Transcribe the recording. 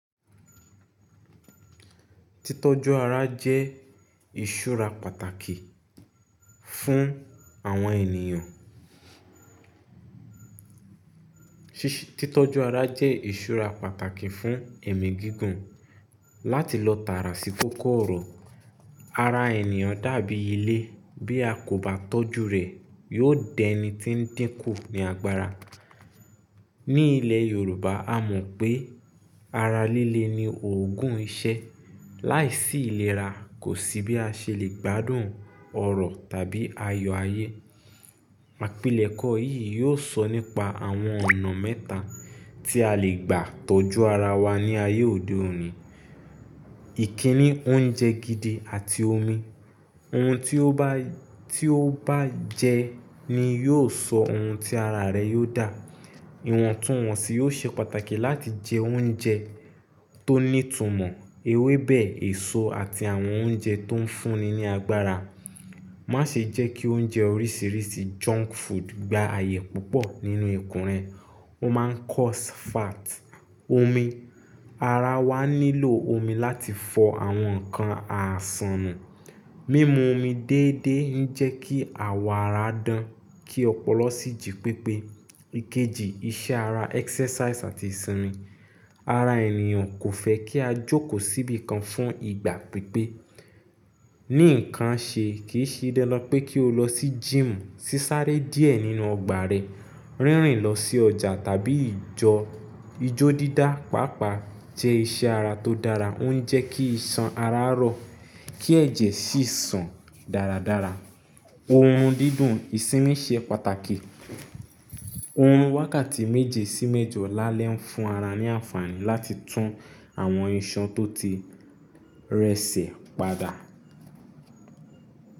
Títọ́jú ara jẹ́ ìṣúra pàtàkì fún àwọn ènìyàn. Títọ́jú ara jẹ́ ìṣúra pàtàkì fún ẹ̀mí gígùn. Láti lọ tààrà sí kòkòrò, ara ènìyàn dàbí ilé, bí a kò bá tọ́jú rẹ̀, yóò dẹni tí ń dínkù ní agbára. Ní ilẹ̀ Yorùbá a mọ̀ pé ara líle ni òògùn ìṣẹ́. Láìsí ìlera kò sí bí a ṣe lè gbádùn ọrọ̀ tàbí ayọ̀ ayé. Àpilẹ̀kọ yìí yóò sọ nípa àwọn ọ̀nà mẹ́ta tí a lè gbà tọ́jú ara wa ní ayé òde òní. Ìkíni, oúnjẹ gidi àti omi. Ohun tí ó bá, tí ó bá jẹ ni yóò sọ ohun tí ara rẹ yóò dà. Ìwọ̀ntúnwọ̀nsì yóò ṣe pàtàkì láti jẹ oúnjẹ tó ní ìtumọ̀, ewébẹ̀, èso àti àwọn oúnjẹ tó ń fúnni ní agbára. Má ṣe jẹ́ kí oúnjẹ oríṣiríṣi junk food gba ààyè púpọ̀ nínú ikùn rẹ. Ó máa ń cause fat. Omi, ara wa nílò omi láti fọ àwọn ǹkan àsànù. Mimu omi dédé ń jẹ́ kí àwọ̀ ara dán, kí ọpọlọ sí jí pépé. Ikeji, iṣẹ́ ara, exercise àti ìsinmi. Ara ènìyàn kò fẹ́ kí a jókòó síbí kan fún ìgbà pípẹ́. Ní ǹkan ṣe kì í ṣe dandan pé kí o lọ sí gym, sísáré díẹ̀ nínú ọgbà rẹ, rínrìn lọ sí ọjà tàbí ìjọ. Ijó dídá pàápàá jẹ́ iṣẹ́ ara tó dára, ó ń jẹ́ kí iṣan ara rọ, kí ẹ̀jẹ̀ sì sàn dáradára. Ohun dídùn, ìsinmi ṣe pàtàkì. Ohun wákàtí méje sí méjọ la lè ń fún ara ní àǹfààní láti tún àwọn iṣan tó ti rẹ̀sẹ̀ padà.